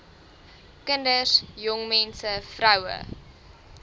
kinders jongmense vroue